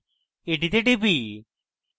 এটিতে টিপি